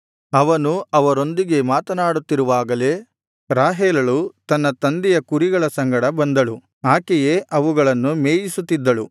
ಅವನು ಅವರೊಂದಿಗೆ ಮಾತನಾಡುತ್ತಿರುವಾಗಲೇ ರಾಹೇಲಳು ತನ್ನ ತಂದೆಯ ಕುರಿಗಳ ಸಂಗಡ ಬಂದಳು ಆಕೆಯೇ ಅವುಗಳನ್ನು ಮೇಯಿಸುತ್ತಿದ್ದಳು